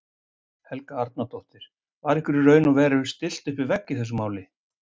Helga Arnardóttir: Var ykkur í raun og veru stillt upp við vegg í þessu máli?